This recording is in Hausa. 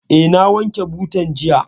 Eh, na wanke butan jiya